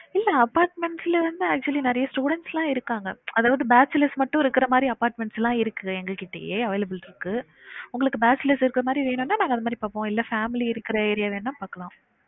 இல்ல apartments ல வந்து actually நெறைய students லா இருக்காங்க அதாவுது bachelors மட்டும் இருக்குற மாறி apartments லா இருக்கு எங்ககிட்டயே available இருக்கு உங்களுக்கு bachelors இருக்குற மாறி வேணும்னா நாங்க அது மாறி பாப்போம் இல்ல family இருக்குற area வேணா பாக்கலாம்